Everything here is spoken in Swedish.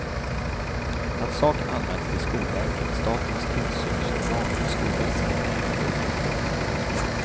Att saken anmälts till skolverket, statens tillsynsorgan för skolväsendet, är inte att undra på.